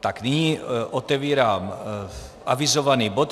Tak nyní otevírám avizovaný bod